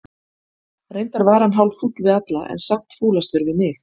Reyndar var hann hálffúll við alla, en samt fúlastur við mig.